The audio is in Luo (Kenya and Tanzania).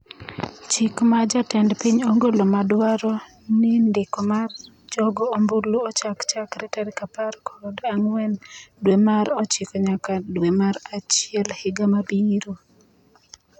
Chik ma jatend piny ogolo madwaro ni ndiko mar jogo ombulu ochak chakre tarik apar kod ang'wen dwe mar ochiko nyaka dwe mar achiel higa mabiro